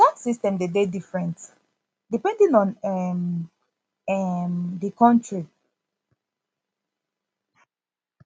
di tax system de dey different depending on um um di country